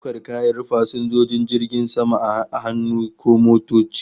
Ana daukar kayan fasinjojin jirgin sama a hannu ko motoci